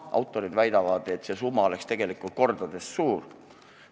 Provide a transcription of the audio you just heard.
Autorid väidavad, et see summa peaks olema tegelikult kordades suurem.